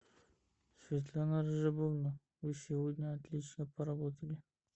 светлана вы сегодня отлично поработали